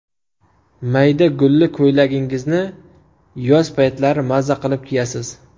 Mayda gulli ko‘ylagingizni yoz paytlari maza qilib kiyasiz.